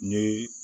Ni